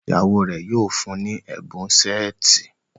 ìyàwó rẹ yíò fún ní Ẹbùn Ṣẹ́ẹ̀tì.